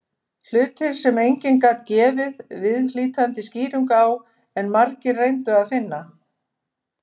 Hlutir sem enginn gat gefið viðhlítandi skýringu á, en margir reyndu að finna.